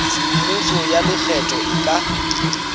semmuso ya lekgetho e ka